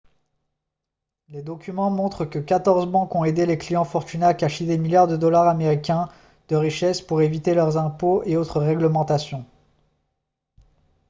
les documents montrent que 14 banques ont aidé des clients fortunés à cacher des milliards de dollars américains de richesse pour éviter les impôts et autres réglementations